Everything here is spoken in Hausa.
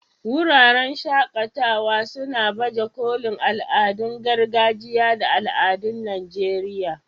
Wuraren shaƙatawa suna baje kolin al'adun gargajiya da al'adun Najeriya.